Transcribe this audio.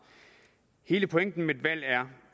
hele pointen med et valg er